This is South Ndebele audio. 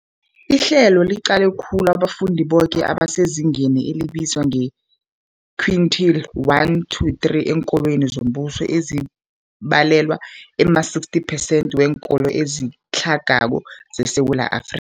Ihlelo liqale khulu abafundi boke abasezingeni elibizwa nge-quintile 1-3 eenkolweni zombuso, ezibalelwa ema-60 percent weenkolo ezitlhagako zeSewula Afri